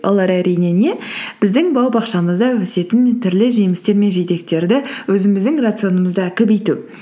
олар әрине не біздің бау бақшамызда өсетін түрлі жемістер мен жидектерді өзіміздің рационымызда көбейту